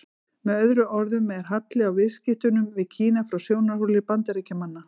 Með öðrum orðum er halli á viðskiptunum við Kína frá sjónarhóli Bandaríkjamanna.